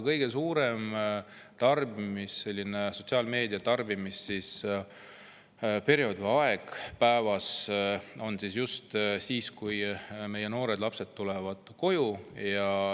Kõige suurem sotsiaalmeedia tarbimise periood või aeg päevas on just siis, kui meie noored ja lapsed on jõudnud koju.